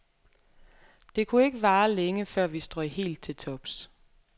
Det kunne ikke vare længe, før vi strøg helt til tops.